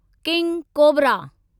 king cobra